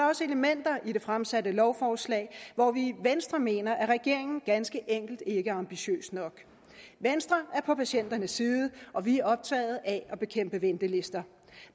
også elementer i det fremsatte lovforslag hvor vi i venstre mener at regeringen ganske enkelt ikke er ambitiøs nok venstre er på patienternes side og vi er optaget af at bekæmpe ventelister